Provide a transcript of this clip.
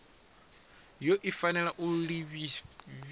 yone i fanela u lifhiwa